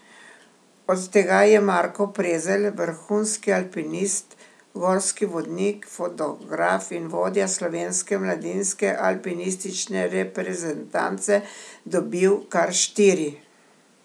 Od tega je Marko Prezelj, vrhunski alpinist, gorski vodnik, fotograf in vodja slovenske mladinske alpinistične reprezentance, dobil kar štiri.